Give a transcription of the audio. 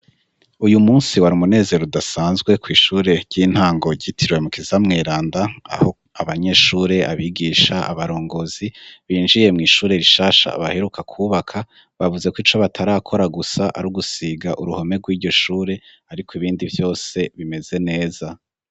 Uyu munsi wari umunezero udasanzwe kw'ishure ry'intango ryitirwe mukiza mweranda aho abanyeshure, abigisha, abarongozi binjiye mw'ishure rishasha baheruka kwubaka bavuze ko ico batarakora gusa ari gusiga uruhome rw'iryo shure ariko ibindi vyose bimeze neza.